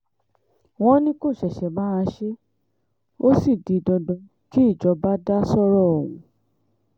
wọ́n ní kó ṣẹ̀ṣẹ̀ máa ṣe é ó sì di dandan kí ìjọba dá sọ́rọ̀ ọ̀hún